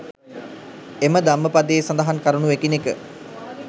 එම ධම්මපදයේ සඳහන් කරුණු එකිනෙක